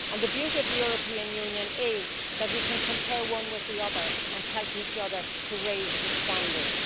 And the beauty of the European Union is that we can compare one with the other and help each other to raise the standards.